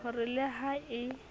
ho re le ha e